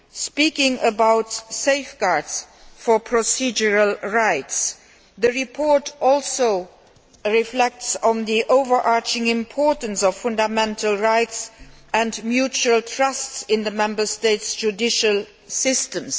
Speaking about safeguards for procedural rights, the report also reflects on the overarching importance of fundamental rights and mutual trust in the Member States' judicial systems.